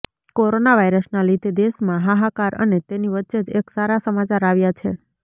corona વાઈરસના લીધે દેશમાં હાહાકાર અને તેની વચ્ચે જ એક સારા સમાચાર આવ્યા છે